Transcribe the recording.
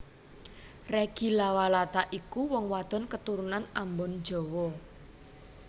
Reggy Lawalata iku wong wadon keturunan Ambon Jawa